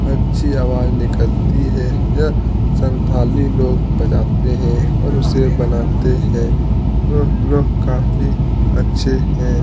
अच्छी आवाज़ निकलती है यह संथाली लोग बजाते है और उसे बनाते है तो लोग काफी अच्छे है।